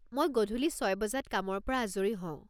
মই গধূলি ছয় বজাত কামৰ পৰা আজৰি হওঁ।